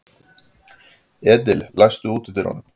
Edil, læstu útidyrunum.